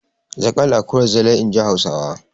Zaƙal akuyar Zilai, in ji Hausawa.